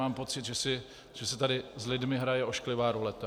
Mám pocit, že se tady s lidmi hraje ošklivá ruleta.